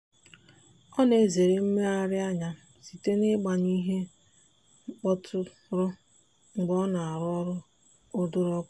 ọ na-ezere mmegherianya site n'ịgbanyụ ihe mkpọtụrụ mgbe ọ na-arụ ọrụ ọdụrụkọ.